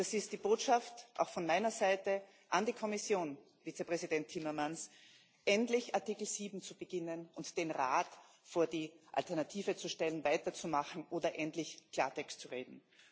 Das ist die Botschaft auch von meiner Seite an die Kommission, an Vizepräsident Timmermans, endlich Artikel 7 zu beginnen und den Rat vor die Alternative zu stellen, weiterzumachen oder endlich Klartext zu reden.